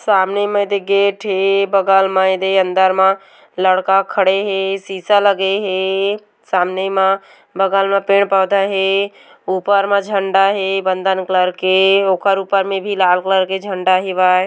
सामने म एदे गेट हे बगल म एदे अंदर म लड़का खड़े हे शीशा लगे हे सामने म बगल म पेड़-पौधा है बगल में झंडा है बंधन कलर के ओखर ऊपर मे भी लाल कलर के झंडा हेवय।